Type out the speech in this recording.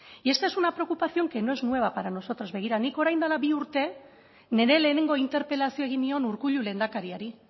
y esta es una preocupación que no es nueva para nosotros begira nik orain dela bi urte nire lehenengo interpelazioa egin nion urkullu lehendakariari